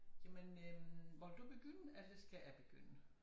Jamen øh ville du begynde eller skal jeg begynde